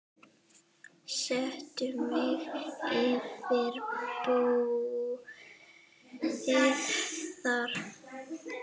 Settu mig yfir búið þar.